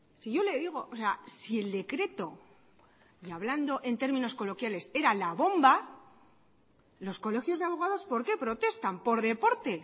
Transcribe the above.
si yo le digo si el decreto hablando en términos coloquiales era la bomba los colegios de abogados por qué protestan por deporte